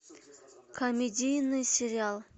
комедийный сериал